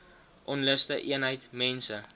onluste eenheid mense